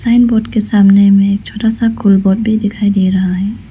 Sign board के सामने में एक छोटा सा कोई बोर्ड भी दिखाई दे रहा है।